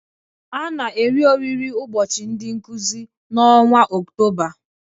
A na-eri oriri ụbọchị ndị Nkụzi n'ọnwa Ọktoba